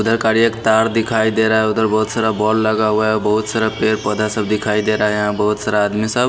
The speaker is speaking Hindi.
इधर का एक तार दिखाई दे रहा है उधर बहुत सारा बॉल लगा हुआ है बहुत सारा पैर पौधा सब दिखाई दे रहा है यहां बहुत सारा आदमी सब।